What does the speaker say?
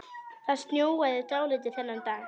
Það snjóaði dálítið þennan dag.